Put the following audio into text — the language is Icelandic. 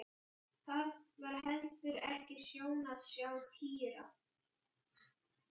Það var heldur ekki sjón að sjá Týra.